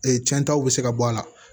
cɛntaw bɛ se ka bɔ a la